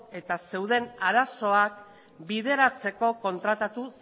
eta zeuden arazoak bideratzeko kontratatu